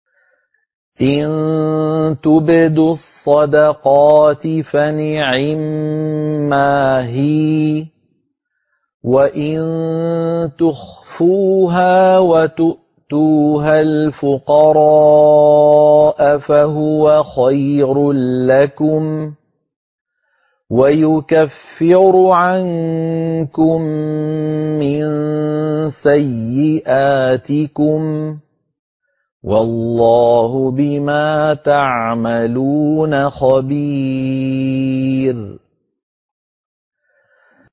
إِن تُبْدُوا الصَّدَقَاتِ فَنِعِمَّا هِيَ ۖ وَإِن تُخْفُوهَا وَتُؤْتُوهَا الْفُقَرَاءَ فَهُوَ خَيْرٌ لَّكُمْ ۚ وَيُكَفِّرُ عَنكُم مِّن سَيِّئَاتِكُمْ ۗ وَاللَّهُ بِمَا تَعْمَلُونَ خَبِيرٌ